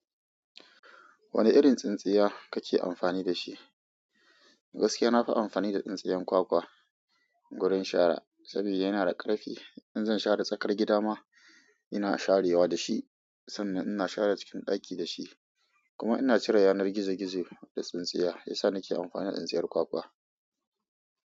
Wane irin tsintsiya kake amfani da shi? Gaskiya na fi amfani da tsintsiyan kwakwa gurin shara sabida yana da karfi in zan share tsakar gida ma ina sharewa da shi san nan cikin daki da shi kuma ina cire yanar gizo gizo da tsintsiya. Shi ya sa na ke amfani da tsintsiyar kwakwa.